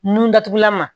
Nun datugulan ma